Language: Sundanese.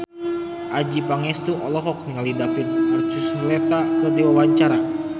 Adjie Pangestu olohok ningali David Archuletta keur diwawancara